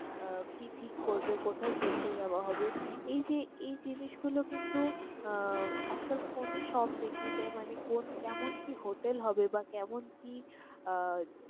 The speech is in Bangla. আহ কি ঠিক করবে, কোথায় ঘুরতে যাওয়া হবে, এই যে এই জিনিসগুলো কিন্তু আজকাল আহ phone এ সব দেখিয়ে দেয়। মানে কোন~ কেমন কি hotel হবে বা কেমন কি আহ